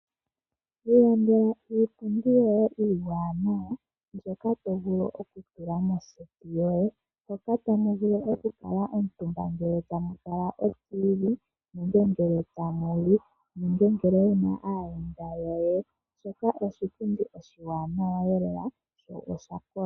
Lilandela iipundi yoye iiwaanawa, mbyoka tovulu okutula moseti yoye , hoka ta mu vulu okukuutumba ngele tamu tala oladio yòmuzizimbe nenge ngele tamu li, nenge ngele wuna aayendà yoye. Shoka oshipundi oshiwaanawa lela shoo oshakola.